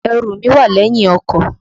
Ẹrù mí wà lẹ́yìn ọkọ̀.